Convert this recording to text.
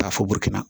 Taa fɔ